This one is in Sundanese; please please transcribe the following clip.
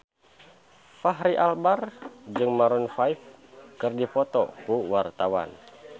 Fachri Albar jeung Maroon 5 keur dipoto ku wartawan